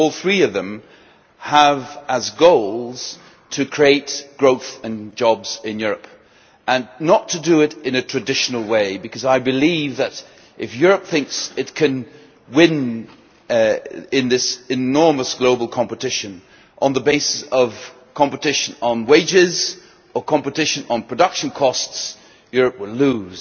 All three of them have as goals the creation of growth and jobs in Europe and not to do this in a traditional way. Because I believe that if Europe thinks it can win in this enormous global competition on the basis of competition on wages or of competition on production costs Europe will lose.